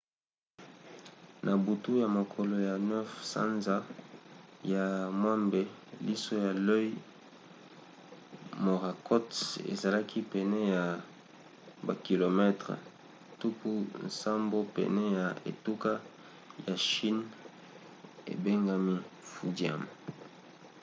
na butu ya mokolo ya 9 sanza ya mwambe liso ya l'œil morakot ezalaki pene ya bakilometele tuku nsambo pene ya etuka ya chine ebengami fujian